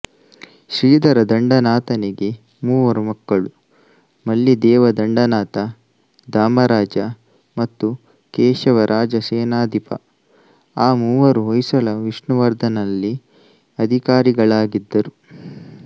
ಶ್ರೀಧರದಂಡನಾಥನಿಗೆ ಮೂವರು ಮಕ್ಕಳು ಮಲ್ಲಿದೇವದಂಡನಾಥ ದಾಮರಾಜ ಮತ್ತು ಕೇಶವರಾಜಸೇನಾಧಿಪ ಆ ಮೂವರೂ ಹೊಯ್ಸಳ ವಿಷ್ಣುವರ್ಧನನಲ್ಲಿ ಅಧಿಕಾರಿಗಳಾಗಿದ್ದರು